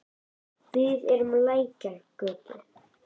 Við erum á Lækjargötu.